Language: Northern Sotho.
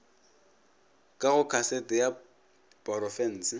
ka go kasete ya porofense